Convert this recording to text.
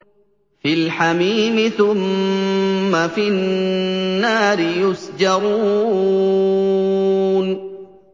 فِي الْحَمِيمِ ثُمَّ فِي النَّارِ يُسْجَرُونَ